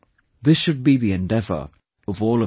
This should be the endeavor of all of us